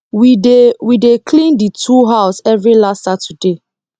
we dey we dey clean the tool house every last saturday